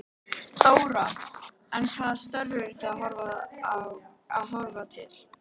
Þóra: En hvaða störf eru þið að horfa til?